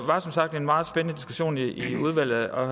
var som sagt en meget spændende diskussion i udvalget og